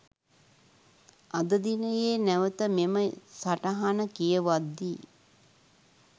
අද දිනයේ නැවත මෙම සටහන කියවද්දී